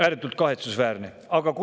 Ääretult kahetsusväärne!